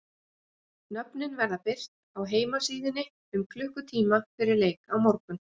Nöfnin verða birt á heimasíðunni um klukkutíma fyrir leik á morgun.